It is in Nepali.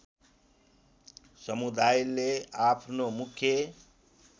समुदायले आफ्नो मुख्य